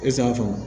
Esanfan